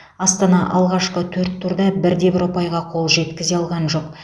астана алғашқы төрт турда бірде бір ұпайға қол жеткізе алған жоқ